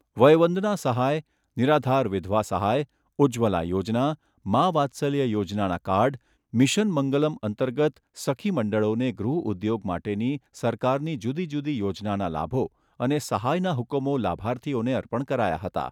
વયવંદના સહાય, નિરાધાર વિધવા સહાય, ઉજ્જવલા યોજના, મા વાત્સલ્ય યોજનાના કાર્ડ, મિશન મંગલમ અંતર્ગત સખીમંડળોને ગૃહઉદ્યોગ માટેની સરકારની જુદી જુદી યોજનાના લાભો અને સહાયના હુકમો લાભાર્થીઓને અર્પણ કરાયા હતા.